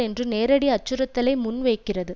என்ற நேரடி அச்சுறுத்தலை முன் வைக்கிறது